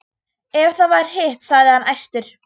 Ef það var hitt, sagði hann æstur: